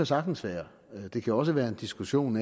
sagtens være det kan også være en diskussion